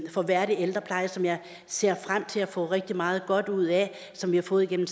for værdig ældrepleje som jeg ser frem til at få rigtig meget godt ud af og som vi har fået igennem